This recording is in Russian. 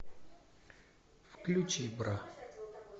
включи бра